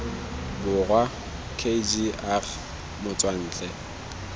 borwa k g r motswantle